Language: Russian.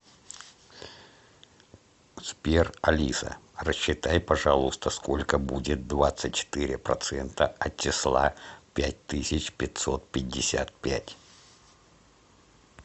сбер алиса рассчитай пожалуйста сколько будет двадцать четыре процента от числа пять тысяч пятьсот пятьдесят пять